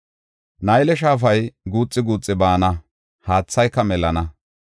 Nayle Shaafa guuxi guuxi baana; haathayka melana.